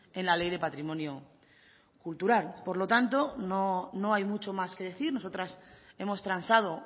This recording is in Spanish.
en la ley de patrimonio cultural por lo tanto no no hay mucho más que decir nosotras hemos transado